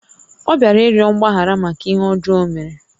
Ọ bịara ịrịọ mgbaghara màkà ihé ọjọọ ọ mèrè